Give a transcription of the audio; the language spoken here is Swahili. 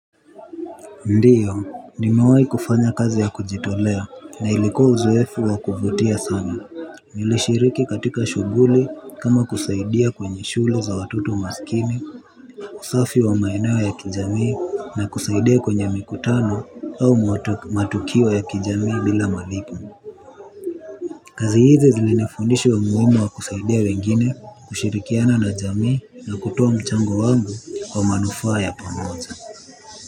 Ndiyo, nimewahi kufanya kazi ya kujitolea na ilikua uzoefu wa kuvutia sana. Nilishiriki katika shughuli kama kusaidia kwenye shule za watoto masikini, usafi wa maeneo ya kijamii na kusaidia kwenye mikutano au matukio ya kijamii bila malipo. Kazi hizi zilinifundisha umuhimu wa kusaidia wengine kushirikiana na jamii na kutoa mchango wangu kwa manufaa ya pamoja.